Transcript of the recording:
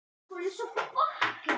Landaurar skulu upp gefast.